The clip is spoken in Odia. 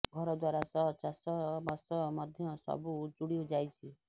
ଘର ଦ୍ୱାରା ସହ ଚାଷ ବାସ ମଧ୍ୟ ସବୁ ଉଜୁଡି ଯାଇଛି